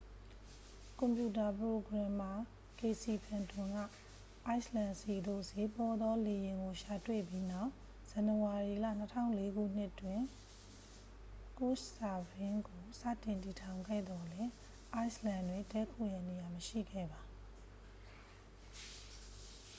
ကွန်ပျူတာ ပရိုဂရမ်မာ ကေစီဖန်တွန် က အိုက်စ်လန်ဆီသို့ စျေးပေါသော လေယာဉ်ကို ရှာတွေ့ပြီးနောက် ဇန်နဝါရီလ 2004နှစ်တွင် ကို့ရှ်စာဗင်း ကို စတင် တည်ထောင်ခဲ့သော်လည်း အိုက်စ်လန်တွင် တည်းခိုရန်နေရာ မရှိခဲ့ပါ